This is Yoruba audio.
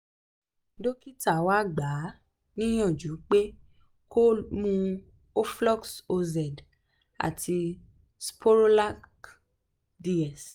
dókítà wa gbà á níyànjú pé kó mu oflox oz àti sporolac ds